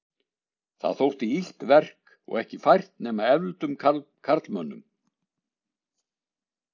Það þótti illt verk og ekki fært nema efldum karlmönnum.